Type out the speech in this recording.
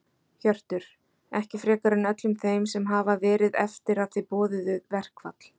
Hjörtur: Ekki frekar en öllum þeim sem hafa verið eftir að þið boðuðu verkfall?